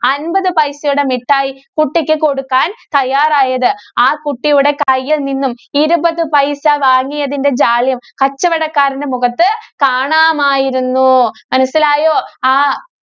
അന്‍പത് പൈസയുടെ മിഠായി കുട്ടിക്ക് കൊടുക്കാന്‍ തയ്യാറായത്. ആ കുട്ടിയുടെ കൈയില്‍ നിന്നും ഇരുപത് പൈസ വാങ്ങിയതിന്‍റെ ജാള്യം കച്ചവടക്കാരന്റെ മുഖത്ത് കാണാമായിരുന്നു. മനസിലായോ. ആഹ്